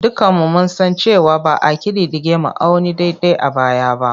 Dukanmu mun san cewa ba a ƙididdige ma'auni daidai a baya ba.